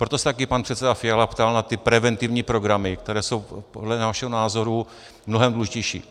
Proto se také pan předseda Fiala ptal na ty preventivní programy, které jsou podle našeho názoru mnohem důležitější.